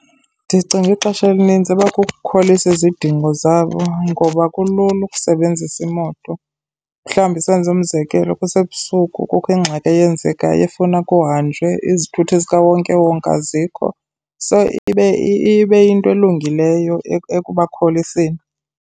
Ndicinga ixesha elininzi iba kukukholisa izidingo zabo ngoba kulula ukusebenzisa imoto. Mhlawumbi senze umzekelo, kusebusuku kukho ingxaki eyenzekayo efuna kuhanjwe, izithuthi zikawonkewonke azikho. So, ibe yinto elungileyo ekubakholiseni.